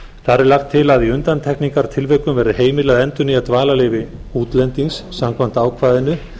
þar er lagt til að í undantekningartilvikum verði heimilað að endurnýja dvalarleyfi útlendings samkvæmt ákvæðinu